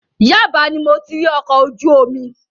Yaba ni mo ti rí ọkọ̀ ojú omi.